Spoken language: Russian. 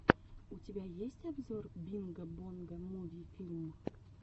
у тебя есть обзор бинго бонго муви филм